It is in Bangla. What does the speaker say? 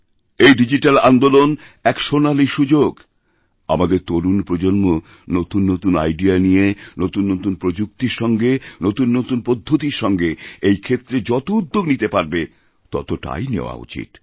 এই ডিজিট্যালআন্দোলন এক সোনালী সুযোগআমাদের তরুণ প্রজন্ম নতুন নতুন আইডিয়া নিয়ে নতুন নতুন প্রযুক্তির সঙ্গে নতুননতুন পদ্ধতির সঙ্গে এই ক্ষেত্রে যত উদ্যোগ নিতে পারবে ততটাই নেওয়া উচিত